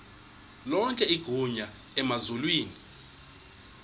lonke igunya emazulwini